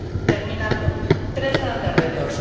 Termino tres grandes retos.